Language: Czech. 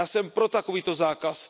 Já jsem pro takovýto zákaz.